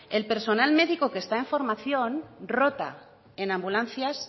el personal médico que está en formación rota en ambulancias